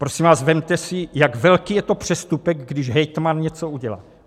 Prosím vás, vezměte si, jak velký je to přestupek, když hejtman něco udělá?